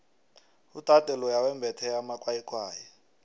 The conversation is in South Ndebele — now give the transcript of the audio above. udade loya wembethe amakwayikwayi